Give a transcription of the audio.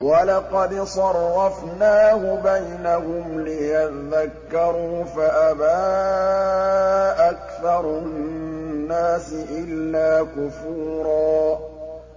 وَلَقَدْ صَرَّفْنَاهُ بَيْنَهُمْ لِيَذَّكَّرُوا فَأَبَىٰ أَكْثَرُ النَّاسِ إِلَّا كُفُورًا